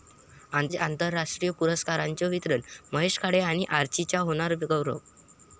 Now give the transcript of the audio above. आज राष्ट्रीय पुरस्कारांचं वितरण, महेश काळे आणि 'आर्ची'चा होणार गौरव